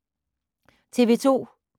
TV 2